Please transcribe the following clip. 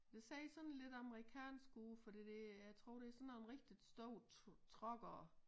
Det ser sådan lidt amerikansk ud fordi det jeg tror det sådan nogen rigtigt store truckere